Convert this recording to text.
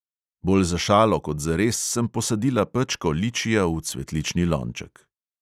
Bolj za šalo kot zares sem posadila pečko ličija v cvetlični lonček.